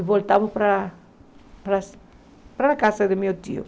E voltamos para a para a para a casa do meu tio.